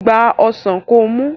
Gba ọsàn kó mu!